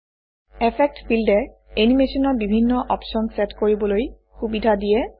effect ফিল্ডে এনিমেচনৰ বিভিন্ন অপশ্যন চেট কৰিবলৈ সুবিধা দিয়ে